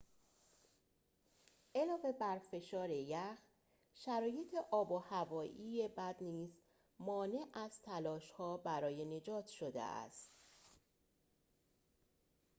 علاوه بر فشار یخ شرایط آب و هوایی بد نیز مانع از تلاش‌ها برای نجات شده است